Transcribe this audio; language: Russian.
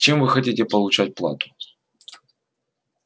чем вы хотите получать плату